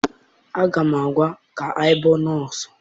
Aga m agwa, ị ga-abụ nọọsụ!